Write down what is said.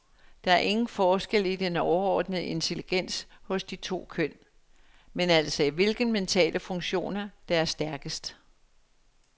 Der er ingen forskel i den overordnede intelligens hos de to køn, men altså i hvilke mentale funktioner, der er stærkest.